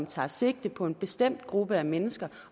tager sigte på en bestemt gruppe af mennesker